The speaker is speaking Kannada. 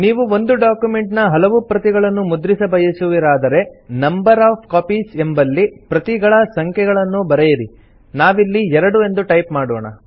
ನೀವು ಒಂದು ಡಾಕ್ಯುಮೆಂಟ್ ನ ಹಲವು ಪ್ರತಿಗಳನ್ನು ಮುದ್ರಿಸ ಬಯಸುವಿರಾದರೆ ನಂಬರ್ ಒಎಫ್ ಕಾಪೀಸ್ ಎಂಬಲ್ಲಿ ಪ್ರತಿಗಳ ಸಂಖ್ಯೆಯನ್ನು ಬರೆಯಿರಿ ನಾವಿಲ್ಲಿ 2 ಎಂದು ಟೈಪ್ ಮಾಡೋಣ